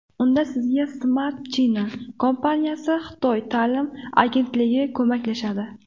Unda sizga Smart China kompaniyasi Xitoy ta’lim agentligi ko‘maklashadi.